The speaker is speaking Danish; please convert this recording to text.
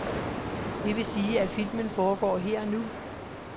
Det vil sige, at filmen foregår her og nu.